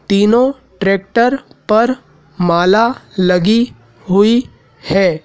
तीनों ट्रैक्टर पर माला लगी हुई है।